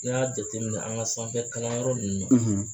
N'i y'a jateminɛ an ka sanfɛ kalanyɔrɔ ninnu na